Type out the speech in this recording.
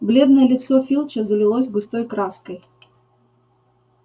бледное лицо филча залилось густой краской